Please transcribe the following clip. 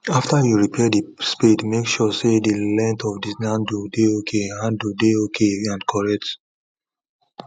after you repair the spade make sure say the length of the handle dey ok handle dey ok and correct